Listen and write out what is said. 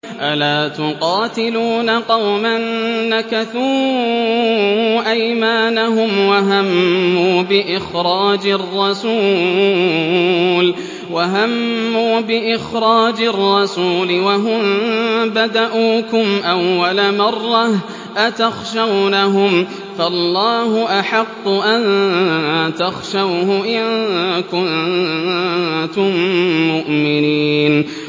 أَلَا تُقَاتِلُونَ قَوْمًا نَّكَثُوا أَيْمَانَهُمْ وَهَمُّوا بِإِخْرَاجِ الرَّسُولِ وَهُم بَدَءُوكُمْ أَوَّلَ مَرَّةٍ ۚ أَتَخْشَوْنَهُمْ ۚ فَاللَّهُ أَحَقُّ أَن تَخْشَوْهُ إِن كُنتُم مُّؤْمِنِينَ